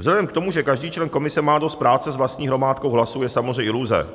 Vzhledem k tomu, že každý člen komise má dost práce s vlastní hromádkou hlasů, je samozřejmě iluze